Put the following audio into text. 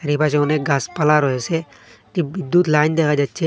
চারিপাশে অনেক গাছপালা রয়েছে একটি বিদ্যুৎ লাইন দেখা যাচ্ছে।